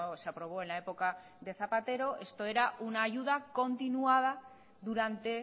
se aprobó en la época de zapatero esto era una ayuda continuada durante